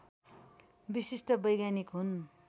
विशिष्ट वैज्ञानिक हुन्